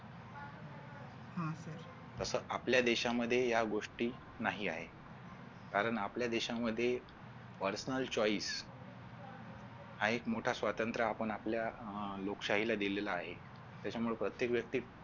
असं आपल्या देशामध्ये या गोष्टी नाही आहेत कारण आपल्या देशामध्ये personal choice हा एक मोठा स्वातंत्र्य आपण आपल्या अह लोकशाहीला दिलेला आहे त्याच्यामुळे प्रत्येक व्यक्ती